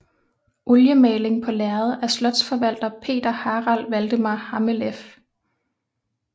Oliemaling på lærred af slotsforvalter Peter Harald Valdemar Hammeleff